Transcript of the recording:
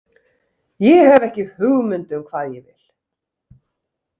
Ég hef ekki hugmynd um hvað ég vil.